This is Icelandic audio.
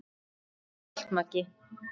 Takk fyrir allt, Maggi.